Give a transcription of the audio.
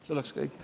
See oleks kõik.